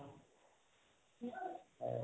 হয়